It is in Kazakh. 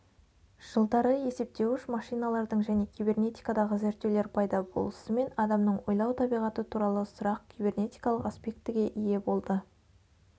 жылдары есептеуіш машиналардың және кибернетикадағы зерттеулер пайда болысымен адамның ойлау табиғаты туралы сұрақ кибернетикалық аспектіге ие болды